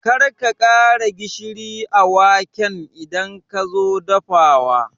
Karka ƙara gishiri a waken idan kazo dafawa